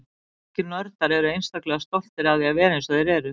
Margir nördar eru einstaklega stoltir af því að vera eins og þeir eru.